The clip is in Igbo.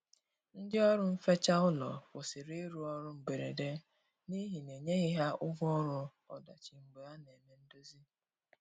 Ndi ọrụ nfecha ụlọ kwusịrị irụ ọrụ mgberede n'ihi na enyeghi ha ụgwọ ọrụ ọdachi mgbe a na eme ndozi